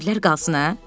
Evlər qalsın hə?